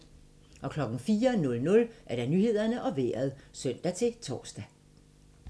04:00: Nyhederne og Vejret (søn-tor)